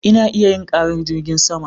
Ina iya jin karar jirgin sama